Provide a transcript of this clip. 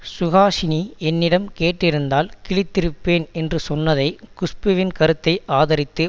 சுஹாசினி என்னிடம் கேட்டிருந்தால் கிழித்திருப்பேன் என்று சொன்னதை குஷ்புவின் கருத்தை ஆதரித்து